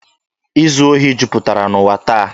Izu ohi juputara n'ụwa taa.